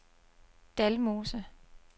Dalmose